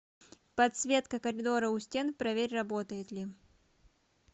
подсветка коридора у стен проверь работает ли